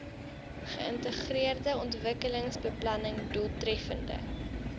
geïntegreerde ontwikkelingsbeplanning doeltreffende